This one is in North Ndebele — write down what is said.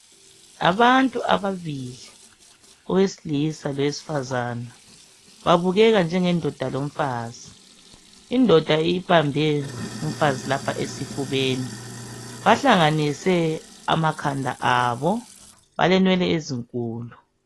abantu ababili owesilisa loweifazana babukeka njenge ndoda lomfazi indoda ibambe umfazi lapha esifubeni balanganise amakhanda abo balenwele ezinkulu